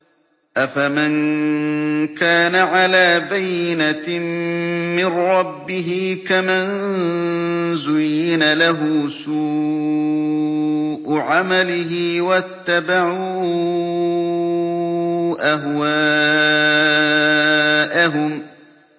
أَفَمَن كَانَ عَلَىٰ بَيِّنَةٍ مِّن رَّبِّهِ كَمَن زُيِّنَ لَهُ سُوءُ عَمَلِهِ وَاتَّبَعُوا أَهْوَاءَهُم